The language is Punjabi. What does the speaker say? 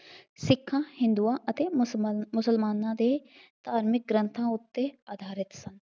ਸਿੱਖਾਂ, ਹਿੰਦੂਆਂ ਅਤੇ ਮੁਸਲਮਾਨਾਂ ਦੇ ਧਾਰਮਿਕ ਗ੍ਰੰਥਾਂ ਉੱਤੇ ਆਧਾਰਿਤ ਹੈ।